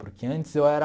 Porque antes eu era...